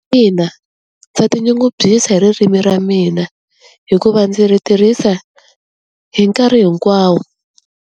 Ina ndza tinyungubyisa hi ririmi ra mina hikuva ndzi ri tirhisa hi nkarhi hinkwawo.